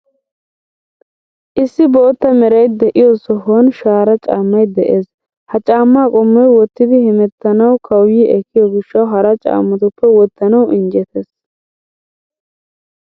Issi bootta meray de'iyoo sohuwan shara caammay de'ees. Ha caammaa qommoy wottidi hemettanawu kawuyi ekkiyo gishshawu hara caammatuppe wottanawu injjetees.